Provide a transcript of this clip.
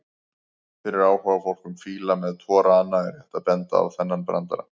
Fyrir áhugafólk um fíla með tvo rana er rétt að benda á þennan brandara: